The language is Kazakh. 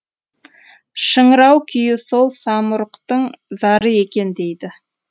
шыңырау күйі сол самұрықтың зары екен дейді